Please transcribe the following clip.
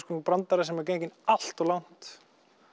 svona brandari sem er genginn allt of langt